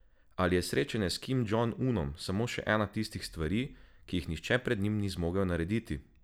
Ali je srečanje s Kim Džong Unom samo še ena tistih stvari, ki je nihče pred njim ni zmogel narediti?